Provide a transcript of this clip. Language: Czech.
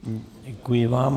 Děkuji vám.